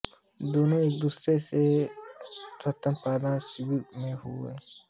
दोनों एकदूसरे से एक रक्तदान शिविर में हुई थी